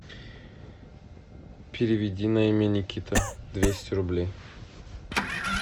переведи на имя никита двести рублей